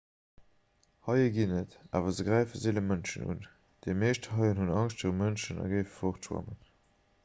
haie ginn et awer se gräife seele mënschen un déi meescht haien hunn angscht viru mënschen a géife fortschwammen